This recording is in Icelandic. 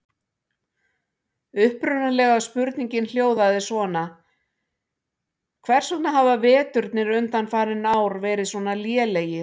Upprunalega spurningin hljóðaði svona: Hvers vegna hafa veturnir undanfarin ár verið svona lélegir?